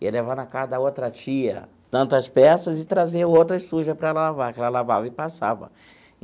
Ia levar na casa da outra tia tantas peças e trazer outra suja para ela lavar, que ela lavava e passava.